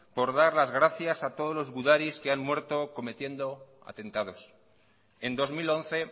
por dar las gracias a todos los gudaris que han muerto cometiendo atentados en dos mil once